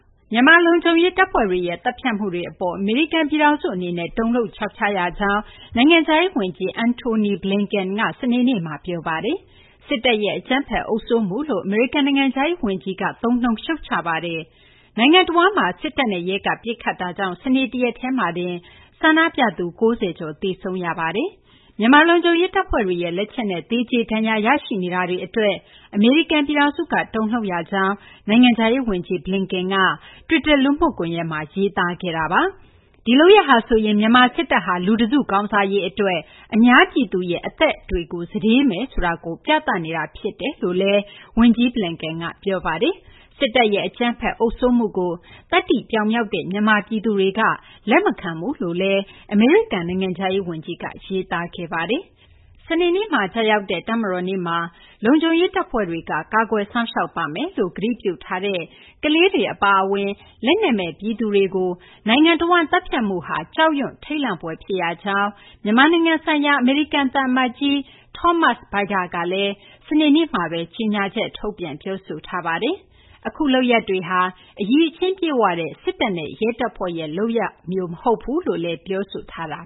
မြန်မာ လုံခြုံရေးတပ်ဖွဲ့တွေရဲ့ သတ်ဖြတ်မှုအပေါ် အမေရိကန်ပြည်ထောင်စု အနေနဲ့ တုန်လှုပ်ခြောက်ခြားရကြောင်း နိုင်ငံခြားရေး ဝန်ကြီး Antony Blinken က စနေနေ့မှာ ပြောဆို လိုက်ပါတယ်။ စစ်တပ်ရဲ့ အကြမ်းဖက်အုပ်စိုးမှုလို့ အမေရိကန် နိုင်ငံခြားရေးဝန်ကြီး Antony Blinken က သုံးနှုန်း ရှုတ်ချလိုက်တာပါ။ နိုင်ငံတဝန်းမှာ စစ်တပ်နဲ့ရဲက ပစ်ခတ်မှုကြောင့် စနေနေ့ တရက်တည်းမှာတင် ဆန္ဒပြသူ ၉၀ ကျော် သေဆုံးခဲ့ရပါတယ်။ မြန်မာ လုံခြုံရေးတပ်ဖွဲ့ရဲ့ လက်ချက်နဲ့ သေကြေဒဏ်ရာ ရရှိနေတာတွေအတွက် အမေရိကန် ပြည်ထောင်စုက တုန်လှုပ်ရတယ်လို့လည်း နိုင်ငံခြားရေး ဝန်ကြီး Blinken က သူ့ရဲ့တွစ်တာ လူမှုကွန်ရက်မှာ ရေးသားခဲ့တာပါ။ မြန်မာ စစ်တပ်ဟာ လူတစု ကောင်းစားရေးအတွက် အများပြည်သူရဲ့ အသက်တွေကို စတေးမယ်ဆိုတာ ဒီလုပ်ရပ်က သက်သေပြသနေတာ ဖြစ်တယ်လို့လည်း ဝန်ကြီး Blinken က ပြောဆိုခဲ့ပါတယ်။ စစ်တပ်ရဲ့ အကြမ်းဖက်အုပ်စိုးမှုကို သတ္တိပြောင်မြောက်တဲ့ မြန်မာပြည်သူတွေက လက်မခံဘူးလို့လည်း အမေရိကန် နိုင်ငံခြားရေး ဝန်ကြီးက ရေးသားခဲ့ပါတယ်။ မြန်မာ စစ်တပ်အနေနဲ့ အာဏာစွန့်ပြီး အရပ်သားအစိုးရကို အာဏာပြန်အပ်ဖို့ အမေရိကန်က ပြောဆိုထားတာ ဖြစ်ပါတယ်။ လုံခြုံရေးတပ်ဖွဲ့တွေက ကာကွယ်စောင့်ရှောက်ပါမယ်လို့ ကတိပြုထားတဲ့ ကလေးတွေအပါအဝင် လက်နက်မဲ့ ပြည်သူတွေကို စနေနေ့မှာ ကျရောက်တဲ့ တပ်မတော်နေ့မှာ နိုင်ငံတဝန်း သတ်ဖြတ်မှုက ကြောက်ရွံ့ထိတ်လန့်ဖွယ် ဖြစ်ရကြောင်း မြန်မာနိုင်ငံဆိုင်ရာ အမေရိကန်သံအမတ်ကြီး Thomas Vajda ကလည်း စနေနေ့မှာပဲ ကြေညာချက် ထုတ်ပြန် ပြောဆိုထားပါတယ်။ အခုလုပ်ရပ်တွေဟာ အရည်အချင်းပြည့်ဝတဲ့ စစ်တပ်နဲ့ ရဲတပ်ဖွဲ့ရဲ့ လုပ်ရပ်မျိုးမဟုတ်ကြောင်းလည်း ပြောဆိုခဲ့တာ